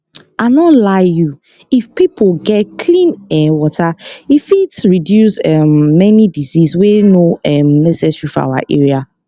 i nor lie you if pipo get clean[um]water e fit reduce um many disease wey nor um necessary for our area